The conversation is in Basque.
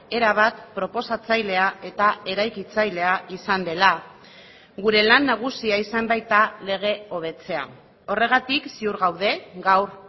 erabat proposatzailea eta eraikitzailea izan dela gure lan nagusia izan baita lege hobetzea horregatik ziur gaude gaur